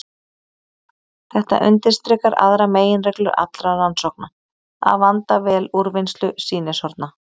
Þetta undirstrikar aðra meginreglu allra rannsókna: að vanda vel úrvinnslu sýnishorna.